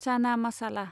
चाना मासाला